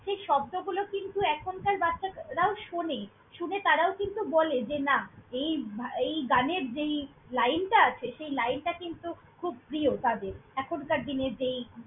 সেই শব্দগুলো কিন্তু এখনকার বাচ্ছারা~ রাও শোনে। শুনে তারাও কিন্তু বলে যে, না এই ভা~ এই গানের যেই line টা আছে, সেই line টা কিন্তু খুব প্রিয় তাদের, এখনকার দিনের যেই।